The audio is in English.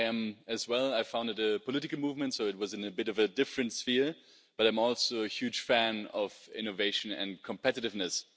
I am as well. I founded a political movement so it was in a bit of a different sphere, but I'm also a huge fan of innovation and competitiveness.